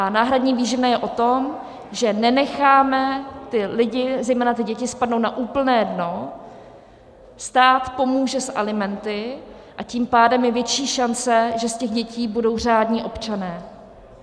A náhradní výživné je o tom, že nenecháme ty lidi, zejména ty děti, spadnout na úplné dno, stát pomůže s alimenty, a tím pádem je větší šance, že z těch dětí budou řádní občané.